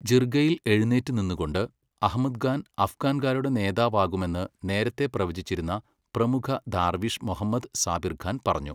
ജിർഗയിൽ എഴുന്നേറ്റ് നിന്നുകൊണ്ട്, അഹ്മദ് ഖാൻ അഫ്ഘാൻകാരുടെ നേതാവാകുമെന്ന് നേരത്തെ പ്രവചിച്ചിരുന്ന പ്രമുഖ ദാർവിഷ് മൊഹമ്മദ് സാബിർ ഖാൻ പറഞ്ഞു,